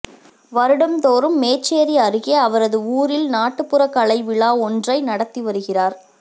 வருடம்தோறும் மேச்சேரி அருகே அவரது ஊரில் நாட்டுப்புறக்கலைவிழா ஒன்றை நடத்தி வருகிறார்